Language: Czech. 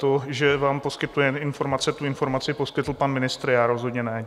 To, že vám poskytujeme informace, tu informaci poskytl pan ministr, já rozhodně ne.